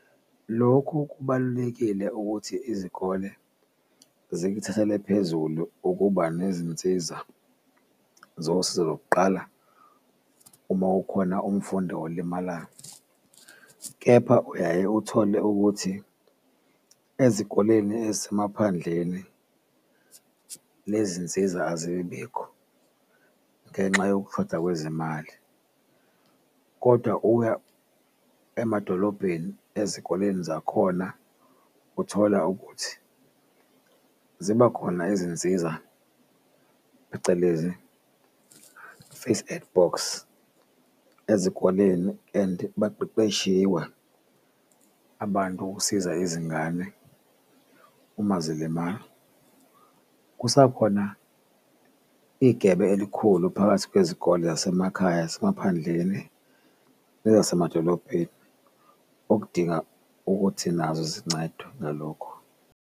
Lokhu kubalulekile ukuthi izikole zikuthathele phezulu ukuba nezinsiza zosizo lokuqala uma kukhona umfundi olimalayo, kepha uyaye uthole ukuthi ezikoleni ezisemaphandleni lezi zinsiza azibibikho ngenxa yokushoda kwezimali. Kodwa uya emadolobheni ezikoleni zakhona uthola ukuthi zibakhona izinsiza phecelezi, first aid box ezikoleni and baqeqeshiwe abantu ukusiza izingane uma zilimala. Kusa khona igebe elikhulu phakathi kwezikole zasemakhaya nasemaphandleni nezasemadolobheni okudinga ukuthi nazo zincedwe ngalokho.